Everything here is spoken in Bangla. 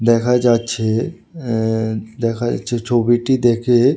দেখা যাচ্ছে এ্যাঁ দেখা যাচ্ছে ছবিটি দেখে--